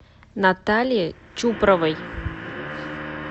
наталье чупровой